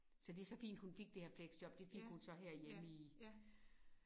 Så det så fint hun fik det her fleksjob det fik hun så herhjemme i